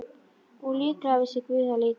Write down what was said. Og líklega vissi guð það líka.